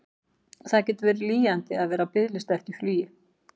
Það getur verið lýjandi að vera á biðlista eftir flugi.